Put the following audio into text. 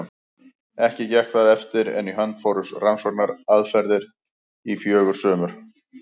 Ekki gekk það eftir, en í hönd fóru rannsóknaferðir í fjögur sumur.